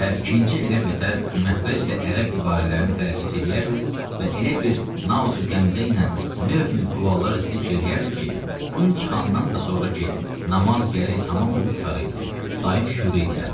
Və ikinci elə betər məxrəclə ərəb ibarələrini tələffüs eləyərdi və elə bir nazü qəmzə ilə növ-növ dualar zikr eləyərdi ki, gün çıxandan da sonra ki, namaz gərək tamam olub qurtara idi, dayım şüru eləyərdi.